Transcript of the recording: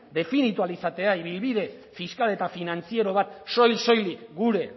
definitua izatea ibilbide fiskal eta finantziero bat soil soilik gure